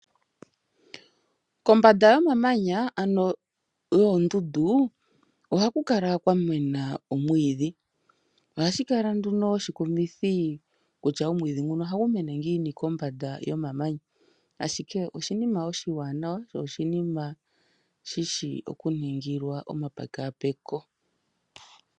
Kombanda yomamanya, ano yoondundu, ohaku kala kwamena omwiidhi. Ohashi kala nduno oshikumithi, kutya omwiidhi nguno ohagu mene ngiini kombanda yomamanya, ashike oshiinima oshiwanawa sho oshishi okunigilwa omapekapeko.